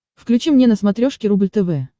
включи мне на смотрешке рубль тв